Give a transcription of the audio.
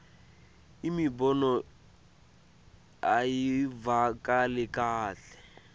imibono ayivakali kahle